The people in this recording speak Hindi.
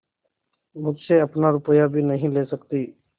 मुझसे अपना रुपया भी नहीं ले सकती